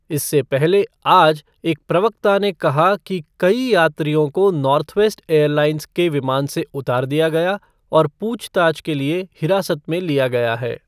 इससे पहले आज, एक प्रवक्ता ने कहा कि कई यात्रियों को नॉर्थवेस्ट एयरलाइंस के विमान से उतार दिया गया और पूछताछ के लिए हिरासत में लिया गया है।